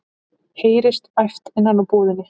heyrist æpt innan úr búðinni.